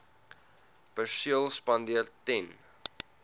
perseel spandeer ten